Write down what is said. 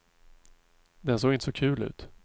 Den såg inte så kul ut.